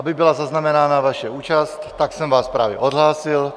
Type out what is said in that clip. Aby byla zaznamenána vaše účast, tak jsem vás právě odhlásil.